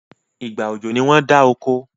ìgbà ọjọ ní wón dá okò.